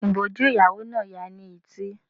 Ìbòjú ìyàwó náà ya ni etí.